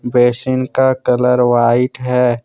Basin का colour white है।